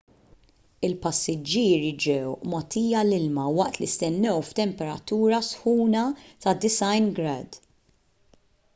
il-passiġġieri ġew mogħtija l-ilma waqt li stennew f'temperatura sħuna ta’ 90 grad f